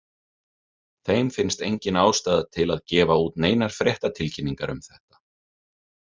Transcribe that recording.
Þeim finnst engin ástæða til að gefa út neinar fréttatilkynningar um þetta.